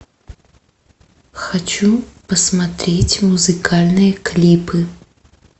хочу посмотреть музыкальные клипы